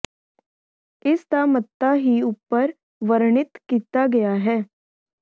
ਇਸ ਦਾ ਮਤਾ ਹੀ ਉਪਰ ਵਰਣਿਤ ਕੀਤਾ ਗਿਆ ਹੈ